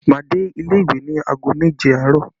Máa dé ilé ìwé ní aago méje àárọ̀